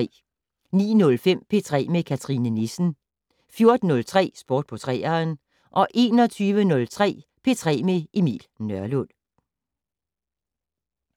09:05: P3 med Cathrine Nissen 14:03: Sport på 3'eren 21:03: P3 med Emil Nørlund